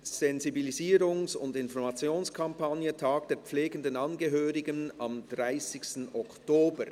«Sensibilisierungs- und Informationskampagne: Tag der pflegenden Angehörigen am 30. Oktober».